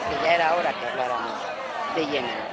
Porque ya era hora de que habláramos de Yemen.